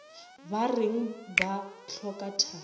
ba reng ba hloka thari